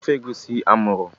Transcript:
ofe egusi amuru?